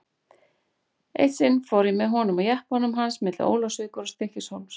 Eitt sinn fór ég með honum á jeppanum hans milli Ólafsvíkur og Stykkishólms.